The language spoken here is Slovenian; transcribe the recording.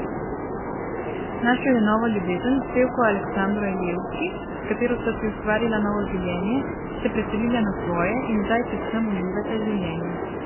Našel je novo ljubezen, pevko Aleksandro Ilijevski, s katero sta si ustvarila novo življenje, se preselila na svoje in zdaj predvsem uživata življenje.